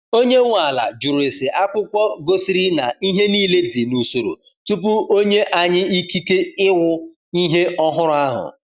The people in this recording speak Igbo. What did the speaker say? Onye nwe ala jụrụ ese akwụkwọ gosiri na ihe niile dị n’usoro tupu onye anyi ikike ịwụ ihe ọhụrụ ahụ.